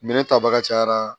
Minɛn tabaga cayara